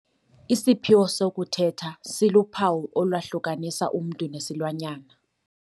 Isiphiwo sokuthetha siluphawu olwahlukanisa umntu nesilwanyana.